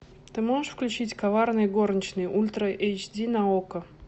ты можешь включить коварные горничные ультра эйч ди на окко